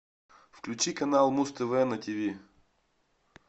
включи канал муз тв на тиви